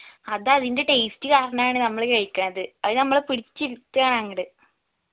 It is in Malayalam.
അത് അതിന്റെ taste കാരണാണ് നമ്മള് കഴിക്കുണത് അത് നമ്മള പിടിച്ച് ഇരുത്തയാണ് അങ്ങട്